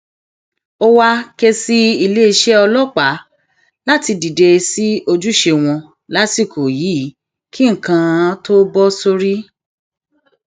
ó wàá um ké sí iléeṣẹ ọlọpàá láti dìde sí ojúṣe wọn lásìkò yìí kí nǹkan tóo bọ sórí um